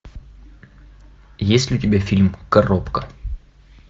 есть ли у тебя фильм коробка